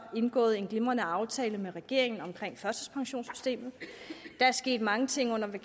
indgået en glimrende aftale med regeringen omkring førtidspensionssystemet der er sket mange ting i